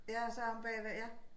Ja og så omme bagved ja